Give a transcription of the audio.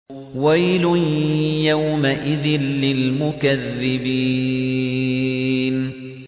وَيْلٌ يَوْمَئِذٍ لِّلْمُكَذِّبِينَ